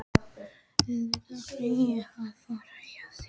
Auðvitað ætla ég að vera hjá þér!